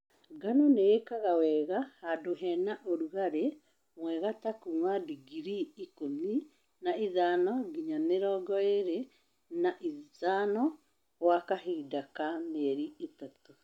Ngano nĩĩkaga wega handu hena ũrugali mwega ta kuma digrii ikũmi na ithano nginya mĩrongo ĩlĩ na ithano gwa kahinda ka mielĩ ĩtatũ